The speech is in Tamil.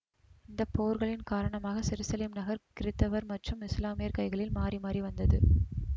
இந்த போர்களின் காரணமாக செருசலேம் நகர் கிறித்தவர் மற்றும் இசுலாமியர் கைகளில் மாறிமாறி வந்தது